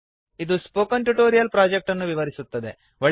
ಇದು spoken tutorial project ಅನ್ನು ವಿವರಿಸುತ್ತದೆ